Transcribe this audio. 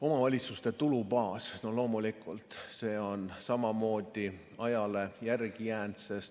Omavalitsuste tulubaas on loomulikult samamoodi ajale jalgu jäänud.